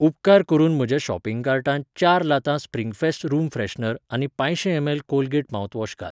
उपकार करून म्हज्या शॉपिंग कार्टांत चार लातां स्प्रिंग फेस्ट रूम फ्रेशनर आनी पाचशीं एम एल कॉलगेट माउथवॉश घाल.